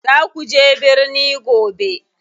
Za kuje birni gobe.